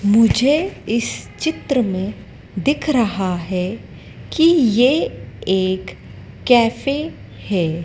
मुझे इस चित्र में दिख रहा है कि ये एक कैफ़े है।